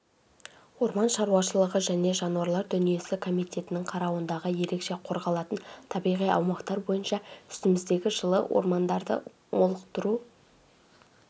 орман шаруашылығы және жануарлар дүниесі комитетінің қарауындағы ерекше қорғалатын табиғи аумақтар бойынша үстіміздегі жылы ормандарды молықтыру